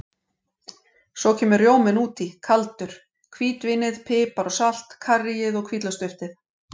Svo kemur rjóminn út í kaldur, hvítvínið, pipar og salt, karríið og hvítlauksduftið.